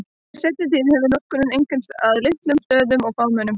Í seinni tíð hefur notkunin einkum beinst að litlum stöðum og fámennum.